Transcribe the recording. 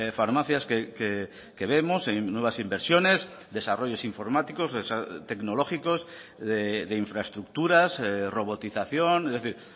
farmacias que vemos en nuevas inversiones desarrollos informáticos tecnológicos de infraestructuras robotización es decir